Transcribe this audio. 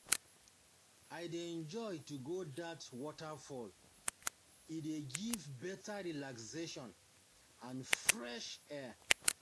I dey um enjoy to go dat waterfall, e dey give better relaxation and fresh air.